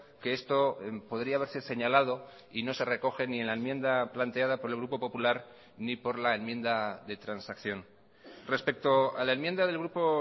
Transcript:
que esto podría haberse señalado y no se recogen ni en la enmienda planteada por el grupo popular ni por la enmienda de transacción respecto a la enmienda del grupo